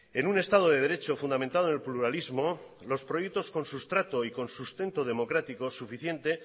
en un estado de derecho fundamentado en el pluralismo los proyectos con sustrato y con sustento democrático suficiente